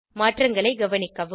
மாற்றங்களை கவனிக்கவும்